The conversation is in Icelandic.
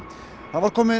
það var komið